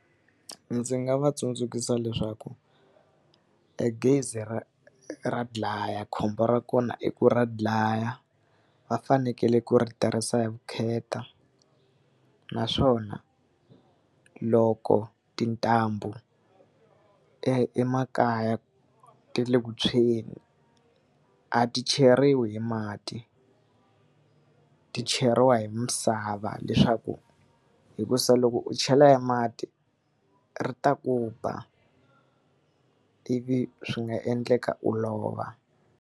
Ndzi nga va tsundzuxa leswaku, e gezi ra ra dlaya khombo ra kona i ku ra dlaya, va fanekele ku ri tirhisa hi vukheta. Naswona loko tintambu emakaya ti ri eku tshweni, a ti cheriwi hi mati, ti cheriwa hi misava leswaku hikuva loko u chela hi mati, ri ta ku ba ivi swi nga endleka u lova.